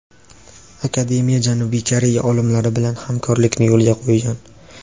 Akademiya Janubiy Koreya olimlari bilan hamkorlikni yo‘lga qo‘ygan.